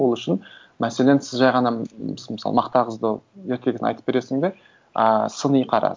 ол үшін мәселен сіз жай ғана мысалы мақта қызды ертегіні айтып бересің бе ы сыни қара